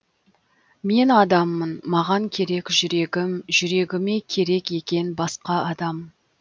мен адаммын маған керек жүрегім жүрегіме керек екен басқа адам